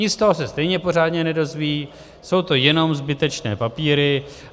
Nic z toho se stejně pořádně nedozví, jsou to jenom zbytečné papíry.